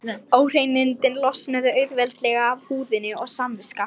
Óhreinindin losnuðu auðveldlega af húðinni og samviska